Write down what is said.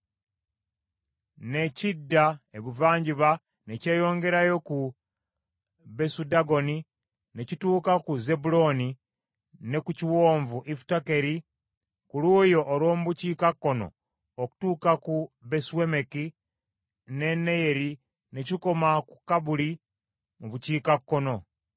ne kidda ebuvanjuba ne kyeyongerayo ku Besudagoni ne kituuka ku Zebbulooni ne ku kiwonvu Ifutakeri ku luuyi olw’omu bukiikakkono okutuuka ku Besuemeki ne Neyeri ne kikoma ku Kabuli mu bukiikakkono.